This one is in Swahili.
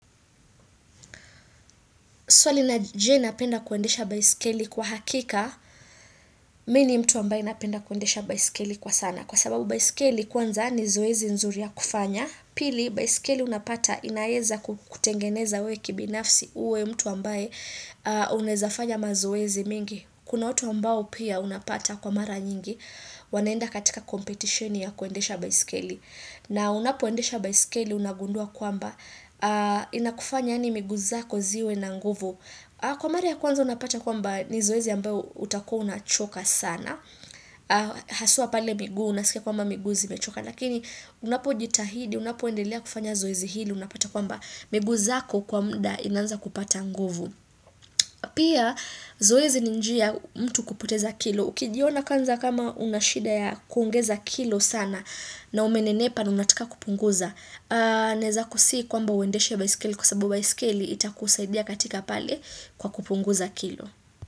Swali na je napenda kuendesha baisikeli kwa hakika, mini mtu ambaye napenda kuendesha baisikeli kwa sana. Kwa sababu baisikeli kwanza ni zoezi nzuri ya kufanya, pili baisikeli unapata inaeza kutengeneza uwe kibinafsi uwe mtu ambaye unaezafanya mazoezi mingi. Kuna watu ambao pia unapata kwa mara nyingi, wanaenda katika competition ya kuendesha baisikeli. Na unapo endesha baisikeli unagundua kwamba inakufanya yaani miguu zako ziwe na nguvu. Kwa mara ya kwanza unapata kwamba ni zoezi ambayo utakuwa unachoka sana. Haswa pale miguu unasikia kwamba miguu zimechoka. Lakini unapo jitahidi unapo endelea kufanya zoezi hili unapata kwamba miguu zako kwamba inaanza kupata nguvu. Pia zoezi ni njia mtu kupoteza kilo. Ukijiona kwanza kama unashida ya kuongeza kilo sana na umenenepa na unataka kupunguza Naeza kusii kwamba uendeshe baiskeli kwa sababu baiskeli ita kusaidia katika pale kwa kupunguza kilo.